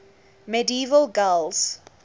medieval gaels